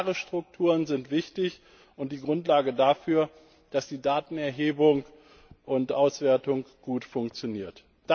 Klare Strukturen sind wichtig, und die Grundlage dafür, dass die Datenerhebung und auswertung gut funktionieren.